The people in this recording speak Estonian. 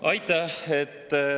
Aitäh!